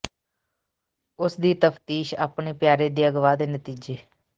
ਉਸ ਦੀ ਤਫ਼ਤੀਸ਼ ਆਪਣੇ ਪਿਆਰੇ ਦੇ ਅਗਵਾ ਦੇ ਨਤੀਜੇ